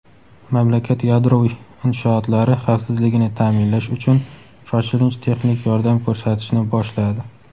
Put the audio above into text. mamlakat yadroviy inshootlari xavfsizligini ta’minlash uchun shoshilinch texnik yordam ko‘rsatishni boshladi.